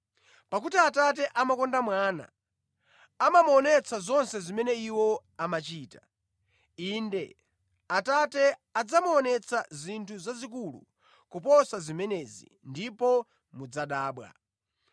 Pakuti Atate amakonda Mwana, amamuonetsa zonse zimene Iwo amachita. Inde, Atate adzamuonetsa zinthu zazikulu kuposa zimenezi ndipo mudzadabwa.